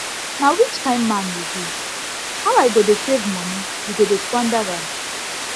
na which kin man you be how i go dey save money you go dey squander am